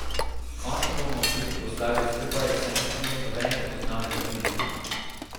Končno bomo tudi proslavili skupaj, saj nismo imeli nobenega spoznavnega piknika.